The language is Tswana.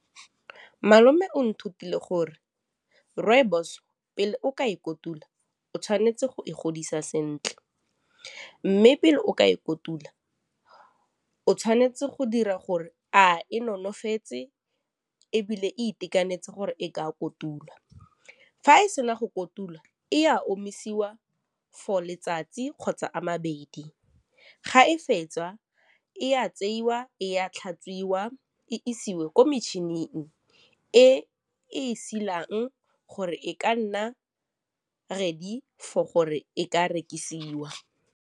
Malome o nthutile gore rooibos pele o ka e kotula o tshwanetse go e godisa sentle mme pele o ka e kotula o tshwanetse go dira gore a e nonofetse ebile e itekanetse gore ka kotulwa fa e sena go kotula e a omisiwa for letsatsi kgotsa a mabedi ga e fetsa e a tseiwa e a tlhatswiwa e isiwe ko metšhining e e silang gore e ka nna ready for gore e ka rekisiwa.